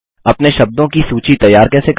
अपने शब्दों की सूची तैयार कैसे करें